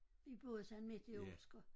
Vi boede sådan midt i Olsker